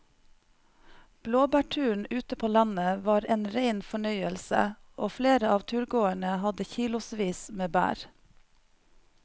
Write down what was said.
Blåbærturen ute på landet var en rein fornøyelse og flere av turgåerene hadde kilosvis med bær.